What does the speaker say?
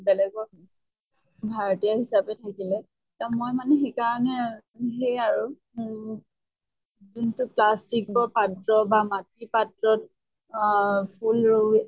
বেলেগৰ ভাড়াতীয়া হিচাপে থাকিলে। মই মানে সেইকাৰণে সেই আৰু উম যোনটো plastic বা পাত্ৰ বা মাটিৰ পাত্ৰত আহ ফুল ৰোই